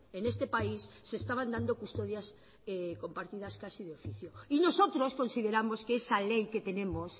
en este país se estaban dando custodias compartidas casi de oficio y nosotros consideramos que esa ley que tenemos